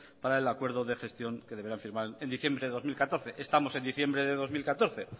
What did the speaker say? para el acuerdo de gestión que deberán firmar en diciembre de dos mil catorce estamos en diciembre de dos mil catorce